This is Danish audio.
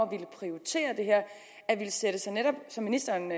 prioritere det her og sætte sig netop som ministeren